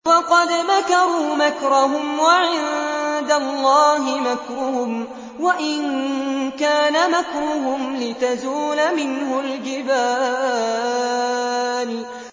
وَقَدْ مَكَرُوا مَكْرَهُمْ وَعِندَ اللَّهِ مَكْرُهُمْ وَإِن كَانَ مَكْرُهُمْ لِتَزُولَ مِنْهُ الْجِبَالُ